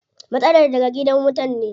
Matsalar daga gidan wutan ne.